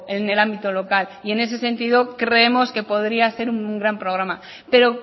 en el ámbito local y en ese sentido creemos que podría ser un gran programa pero